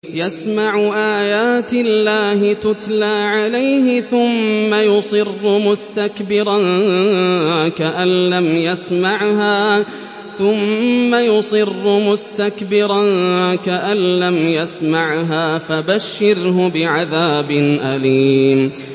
يَسْمَعُ آيَاتِ اللَّهِ تُتْلَىٰ عَلَيْهِ ثُمَّ يُصِرُّ مُسْتَكْبِرًا كَأَن لَّمْ يَسْمَعْهَا ۖ فَبَشِّرْهُ بِعَذَابٍ أَلِيمٍ